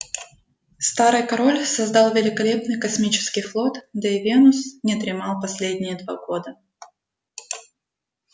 старый король создал великолепный космический флот да и венус не дремал последние два года